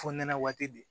Fonɛnɛ waati di